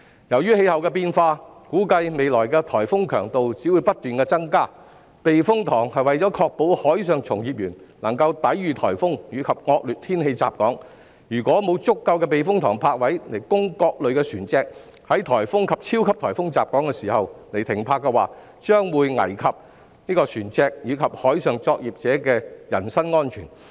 由於氣候變化，估計未來的颱風強度只會不斷增加，避風塘是為了確保海上從業員能夠抵禦颱風及惡劣天氣襲港，如果沒有足夠的避風塘泊位供各類船隻在颱風及超級颱風襲港時停泊，將會危及船隻和海上作業者的安全。